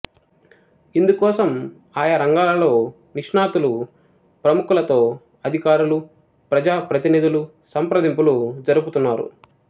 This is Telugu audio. ఇందుకోసం ఆయా రంగాలలో నిష్ణాతులు ప్రముఖులతో అధికారులు ప్రజాప్రతినిధులు సంప్రదింపులు జరుపుతున్నారు